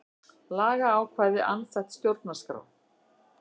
Lagaákvæði andstætt stjórnarskrá